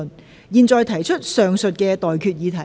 我現在向各位提出上述待決議題。